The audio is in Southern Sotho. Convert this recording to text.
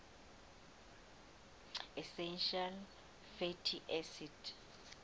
essential fatty acids